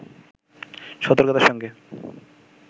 সতর্কতার সঙ্গে